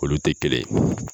Olu te kelen ye